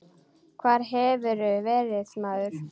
Hvar hefurðu verið, maður?